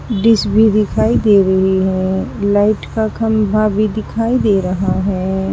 डीस भी दिखाई दे रही है लाइट का खंभा भी दिखाई दे रहा है।